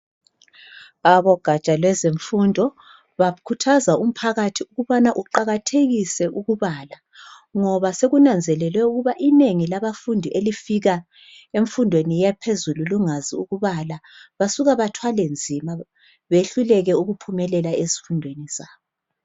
Abogatsha lwezemfundo bakhuthaza umphakathi ukubana uqakathekise ukubala, ngoba sekunanzelelwe ukuba inengi labafundi elifika emfundweni yaphezulu lungazi ukubala. Basuka bathwale nzima behluleke ukuphumelela ezifundweni zabo.